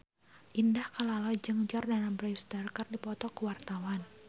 Indah Kalalo jeung Jordana Brewster keur dipoto ku wartawan